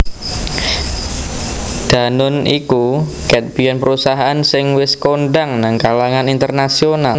Danone iku ket biyen perusahaan sing wes kondang nang kalangan internasional